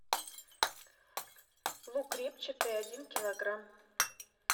лук репчатый один килограмм